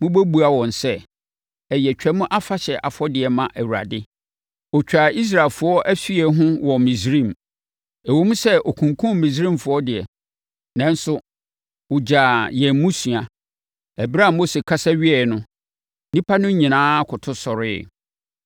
mobɛbua wɔn sɛ, ɛyɛ Twam Afahyɛ afɔdeɛ ma Awurade. Ɔtwaa Israelfoɔ afie ho wɔ Misraim. Ɛwom sɛ ɔkunkumm Misraimfoɔ deɛ, nanso ɔgyaa yɛn mmusua.’ ” Ɛberɛ a Mose kasa wieeɛ no, nnipa no nyinaa koto sɔreeɛ.